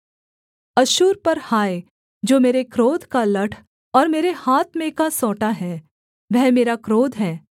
अश्शूर पर हाय जो मेरे क्रोध का लठ और मेरे हाथ में का सोंटा है वह मेरा क्रोध है